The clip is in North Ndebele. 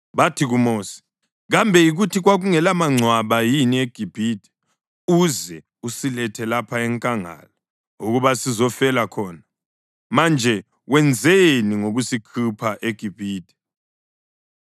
Bathi kuMosi, “Kambe yikuthi kwakungelamangcwaba yini eGibhithe uze usilethe lapha enkangala ukuba sizofela khona? Manje wenzeni ngokusikhupha eGibhithe?